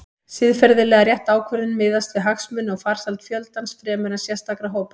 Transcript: Siðferðilega rétt ákvörðun miðast því við hagsmuni og farsæld fjöldans fremur en sérstakra hópa.